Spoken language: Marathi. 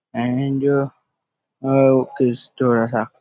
अँड थोडासा --